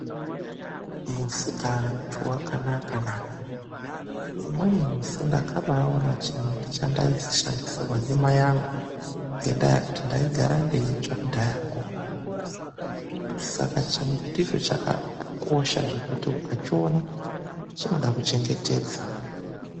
Musikaantu wakanaka naa, umweni musi ndakabaona chimbuti chandaisishandisirwa ndimai angu ngekuti ndaigara ndeitsva kudhayako, saka chimbuticho chakakosha zvekuti ukachiona chinoda kuchengetedzwa